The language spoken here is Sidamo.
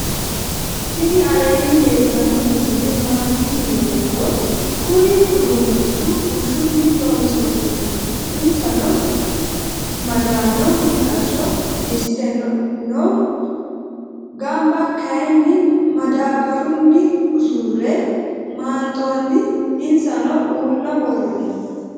tini aleni leltano misile matti yinumoro. kunni udunichu bushuni loonsoniho insano madano mixasho disite noo. gama kayini madabaruni usure manxonni. insano ula woroni.